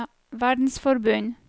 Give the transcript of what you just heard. verdensforbund